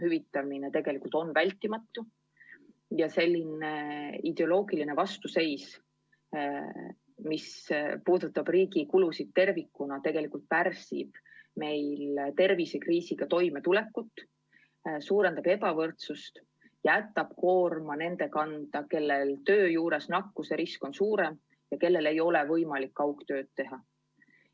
Praegune ideoloogiline vastuseis, mis puudutab riigi kulusid tervikuna, tegelikult pärsib tervisekriisiga toimetulekut, suurendab ebavõrdsust, jätab koorma nende kanda, kellel töö juures nakatumise risk on suurem, kellel ei ole võimalik kaugtööd teha.